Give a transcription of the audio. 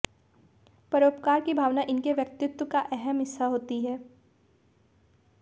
परोपकार की भावना इनके व्यक्तित्व का अहम हिस्सा होती है